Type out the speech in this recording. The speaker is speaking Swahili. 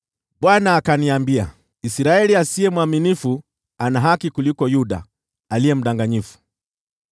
Bwana akaniambia, “Israeli asiye mwaminifu ana haki kuliko Yuda mdanganyifu.